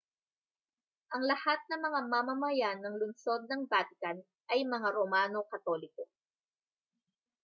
ang lahat ng mga mamamayan ng lungsod ng vatican ay mga romano katoliko